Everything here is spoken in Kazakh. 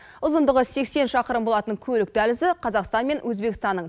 ұзындығы сексен шақырым болатын көлік дәлізі қазақстан мен өзбекстанның